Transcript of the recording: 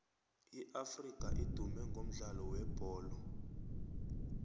iafrika idume ngomdlalo webholo